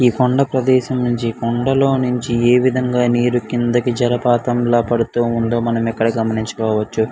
ఈ కొండా ప్రదేశం నుండి కొండలో నుంచి ఏ విదంగా నీరు కిందకి జలపాతం పడుతూ ఉండడం గమనించవచ్చు.